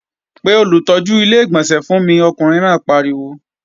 Pe olùtọ́jú Ilé-ìgbọ̀nsẹ̀ fún mi! Ọkùnrin náà pariwo